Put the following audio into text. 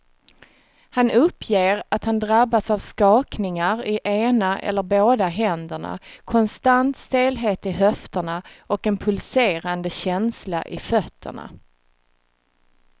Han uppger att han drabbas av skakningar i ena eller båda händerna, konstant stelhet i höfterna och en pulserande känsla i fötterna.